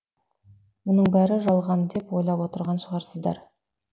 мұның бәрі жалған деп ойлап отырған шығарсыздар